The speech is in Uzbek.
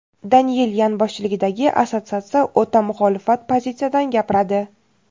Daniyelyan boshchiligidagi assotsiatsiya o‘ta muxolifat pozitsiyadan gapiradi.